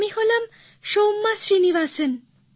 আমি হলাম সৌম্যা শ্রীনিবাসন